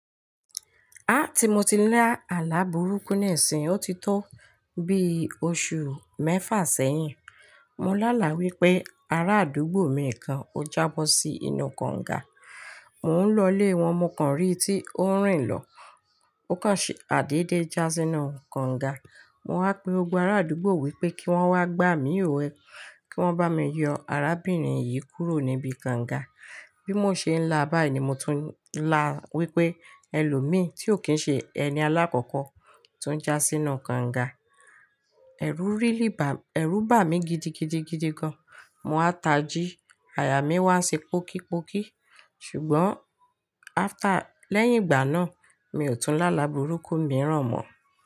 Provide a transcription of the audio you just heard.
Áà tí mo ti ń lá àlá burúkú nisìń, ó ti tó bí oṣù mẹ́fà sẹ́yìn. Mo lá àlá wípé ará àdúgbò mi kan ó jábọ́ sí inú kànga. Mò ń lọ lé wọn, mo kàn rí i tí ó ń rìn lọ. Ó kàn ṣe àdédé já sínú kànga. Mo wá pe gbogbo ará àdúgbò wípé kí wón wá gba mí òwe, kí wón bá mi yọ arábìnrin yìí kúrò níbi kànga. Bí mo ṣe ń là á báyìí ni mo tún ń là wípé ẹlòmíì tí ò kí ń ṣe ẹni alákọ̀kọ́ tuń já sínú kànga. Ẹ̀rù bà mí gidigidigidi gan. Mo wáa ń tají, aya mí wá ń ṣe pókípókí. Ṣùgbọ́n lẹ́yìn ìgbà náà mi ò tún lá àlá burúkú mìíràn mọ́